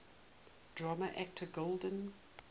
drama actor golden